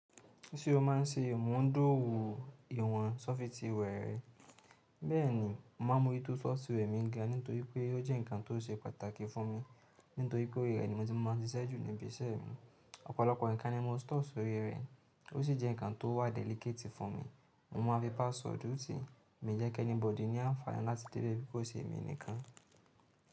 Ṣé o máa ń ṣe ìwọ̀n d'ówù ìwọ̀n sọfitìware rẹ. Bẹ́ẹ̀ ni, mo máa ń mo rí tó software mi ga, nítorí pé ó jẹ́ nǹkan tó ṣe pàtàkì fún mi, nítorí pé orí rẹ̀ ni mo ti máa ń ṣiṣẹ́ ju níbi iṣẹ́ mi. Ọ̀pọ̀lọpọ̀ nǹkan ni mo store sórí rẹ̀, ó sì jẹ́ nǹkan tó wà delicate i fún mi. Mo máa ń fi passwordu tiì mi ń jẹ́ kí anybody ní àǹfààní láti dé bẹ̀, kó i sì èmi nìkan.